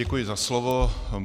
Děkuji za slovo.